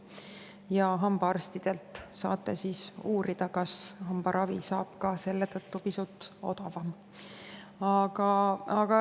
Ja hambaarstidelt saate uurida, kas hambaravi saab selle tõttu pisut odavamalt.